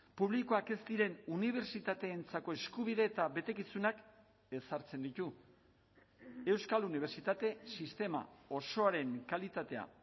publikoak ez diren unibertsitateentzako eskubide eta betekizunak ezartzen ditu euskal unibertsitate sistema osoaren kalitatea